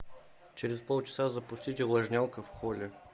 через полчаса запустить увлажнялка в холле